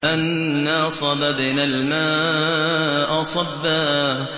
أَنَّا صَبَبْنَا الْمَاءَ صَبًّا